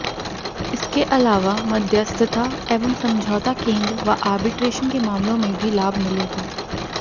इसके अलावा मध्यस्थता एवं समझौता केंद्र व आर्ब्रिटेशन के मामलों में भी लाभ मिलेगा